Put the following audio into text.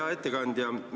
Hea ettekandja!